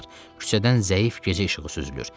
Küçədən zəif gecə işığı süzülür.